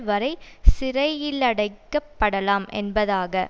வரை சிறையிலடைக்கப்படலாம் என்பதாக